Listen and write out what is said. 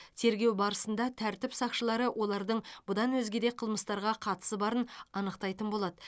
тергеу барысында тәртіп сақшылары олардың бұдан өзге де қылмыстарға қатысы барын анықтайтын болады